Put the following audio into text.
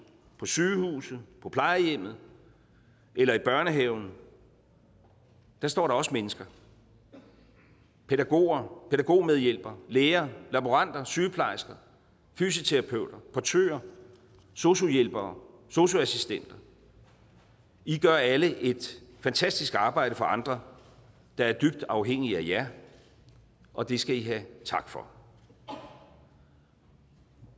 på sygehuset på plejehjemmet eller i børnehaven står der også mennesker pædagoger pædagogmedhjælpere læger laboranter sygeplejersker fysioterapeuter portører sosu hjælpere og sosu assistenter i gør alle et fantastisk arbejde for andre der er dybt afhængige af jer og det skal i have tak for den